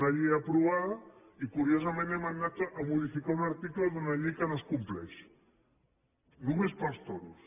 una llei aprovada i curiosament hem anat a modificar un article d’una llei que no es compleix només pels toros